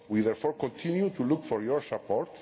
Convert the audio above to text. We therefore continue to hope for your